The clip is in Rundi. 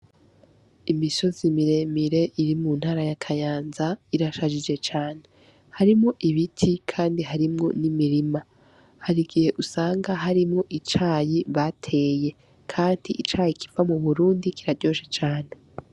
Imisozi muremure iri muntara ya Kayanza, irashajije cane. Harimwo ibiti, kandi harimwo n'imirima. Harigihe usanga harimwo icayi bateye. Kandi icayi kiva mu Burundi kiraryoshe cane.